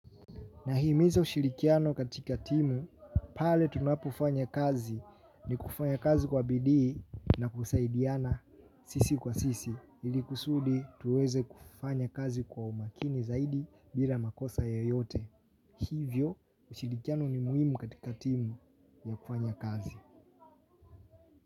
Nahimiza ushirikiano katika timu pale tunapofanya kazi, ni kufanya kazi kwa bidii na kusaidiana sisi kwa sisi ili kusudi tuweze kufanya kazi kwa umakini zaidi bila makosa ya yoyote. Hivyo ushirikiano ni muhimu katika timu ya kufanya kazi.